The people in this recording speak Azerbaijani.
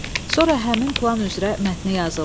Sonra həmin plan üzrə mətni yazırlar.